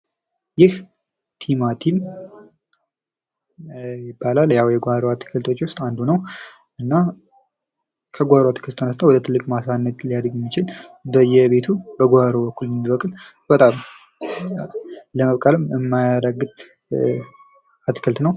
ይህ ቲማቲም ይባላል። ያዉ የጓሮ አትክልቶች ዉስጥ አንዱ ነዉ። እና ከጓሮ አትክልት ተነስቶ ወደ ትልቅ ማሳ ማደግ የሚችል ነዉ። ለመብቀልም የማያዳግት አትክልት ነዉ።